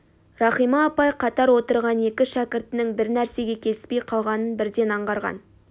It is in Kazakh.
рахима апай қатар отырған екі шәкіртінің бір нәрсеге келіспей қалғанын бірден аңғарған